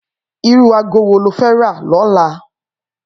Irú àgó wó ló fè rà lòlá?